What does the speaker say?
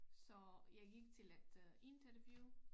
Så jeg gik til et øh interview